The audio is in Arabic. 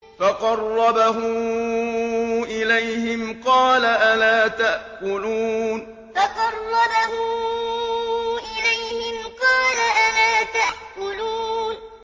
فَقَرَّبَهُ إِلَيْهِمْ قَالَ أَلَا تَأْكُلُونَ فَقَرَّبَهُ إِلَيْهِمْ قَالَ أَلَا تَأْكُلُونَ